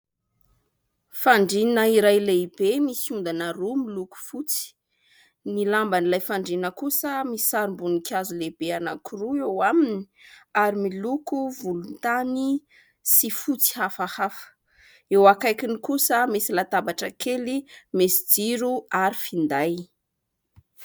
Fandriana iray lehibe misy ondana roa miloko fotsy, ny lamban'ilay fandriana kosa misy sarim-boninkazo lehibe anankiroa eo aminy ary miloko volontany sy fotsy hafahafa. Eo akaikiny kosa misy latabatra kely misy jiro ary finday.